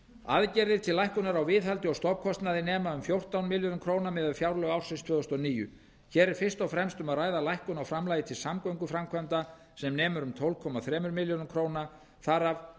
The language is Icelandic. aðgerðir til lækkunar á viðhaldi og stofnkostnaði nema um fjórtán milljörðum króna miðað við fjárlög ársins tvö þúsund og níu hér er fyrst og fremst um að ræða lækkun á framlagi til samgönguframkvæmda sem nemur um tólf komma þremur milljörðum króna þar af